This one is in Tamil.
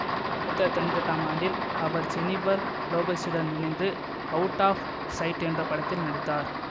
ஆயிரத்தி தொள்ளாயிரத்தி தொன்னூற்தி எட்டாம் ஆண்டில் அவர் ஜெனிபர் லோபஸுடன் இணைந்து அவுட் ஆப் சைட் என்ற படத்தில் நடித்தார்